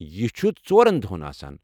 یہِ چھُ ژورَن دۄہَن آسان۔